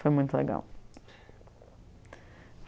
Foi muito legal.